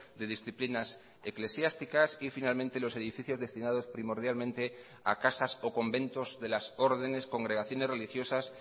de disciplinas eclesiásticas y finalmente los edificios destinados primordialmente a casas o conventos de las órdenes congregaciones religiosas